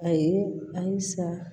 A ye alisa